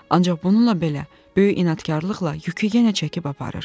Ancaq bununla belə, böyük inadkarlıqla yükü yenə çəkib aparır.